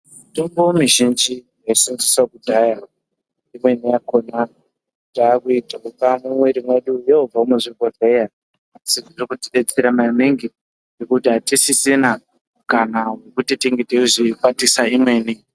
Mitombo mizhinji yaisenzeswa kudhaya mimweni yakona takuidloka mumwiri medu yoobva muzvibhedhlera as zvinotibetsera maningi nekuti atisisina mukana wekunge teizokwatisa mimweni.